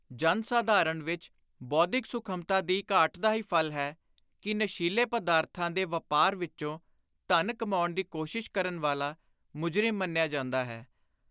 ਜਨ-ਸਾਧਾਰਣ ਵਿਚ ਬੌਧਿਕ ਸੁਖਮਤਾ ਦੀ ਘਾਟ ਦਾ ਹੀ ਫਲ ਹੈ ਕਿ ਨਸ਼ੀਲੇ ਪਦਾਰਥਾਂ ਦੇ ਵਾਪਾਰ ਵਿਚੋਂ ਧਨ ਕਮਾਉਣ ਦੀ ਕੋਸ਼ਿਸ਼ ਕਰਨ ਵਾਲਾ ਮੁਜਰਿਮ ਮੰਨਿਆ ਜਾਂਦਾ ਹੈ